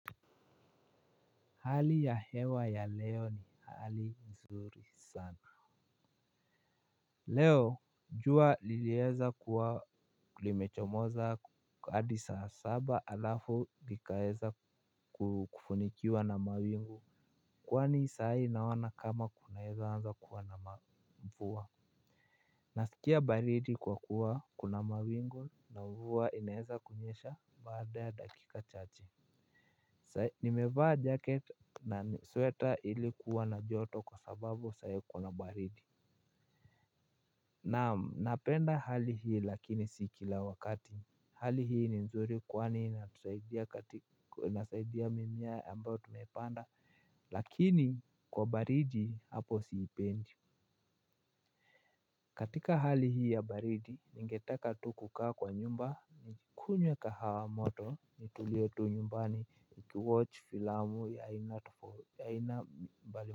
Hali ya hewa ya leo ni hali mzuri sana. Leo jua iliyeza kuwa limechomoza hadi saa saba alafu ikaeza kufunikiwa na mawingu. Kwani sai naona kama kunaeza anza kuwa na mvua. Nasikia baridi kwa kuwa kuna mawingu na mvua inaeza kunyesha baada ya dakika chache. Nimeva jacket na sweater ilikuwa na joto kwa sababu sai kuna baridi. Naam napenda hali hii lakini si kila wakati. Hali hii ni nzuri kwani inasaidia mimeya ambayo tumepanda. Lakini kwa baridi hapo siipendi. Katika hali hii ya baridi ningetaka tu kaa kwa nyumba kunywa kahawa moto nitulie tu nyumbani nikuwatch filamu ya ina mbali.